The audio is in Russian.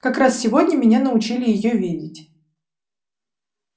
как раз сегодня меня научили её видеть